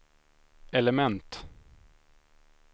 element